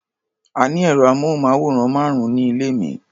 A ní ẹ̀rọ-amóhùnmáwòrán márùn-ún ní ilé mi.